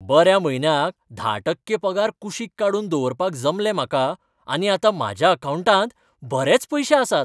बऱ्या म्हयन्याक धा टक्के पगार कुशीक काडून दवरपाक जमलें म्हाका आनी आतां म्हज्या अकावंटांत बरेच पयशे आसात.